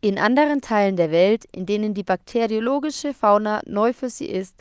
in anderen teilen der welt in denen die bakteriologische fauna neu für sie ist